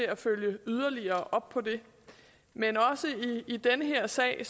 at følge yderligere op på det men også i den her sag